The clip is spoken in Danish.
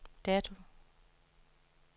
dato